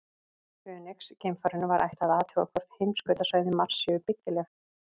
Fönix-geimfarinu var ætlað að athuga hvort heimskautasvæði Mars séu byggileg.